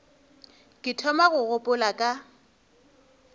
ke thoma go gopola ka